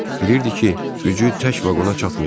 Bilirdi ki, gücü tək vaqona çatmayacaq.